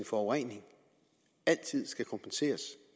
forurening altid skal kompenseres